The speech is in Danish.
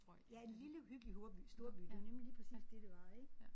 Ja en lille hyggelig storby storby det var nemlig lige præcis det det var ik